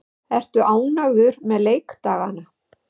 Ertu ánægður með leikdagana?